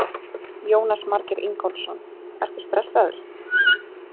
Jónas Margeir Ingólfsson: Ertu stressaður?